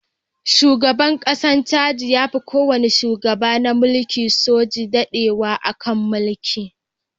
Shugaban ƙasar Chadi ya fi kowane shugaba na mulkin soji dadewa a kan mulki.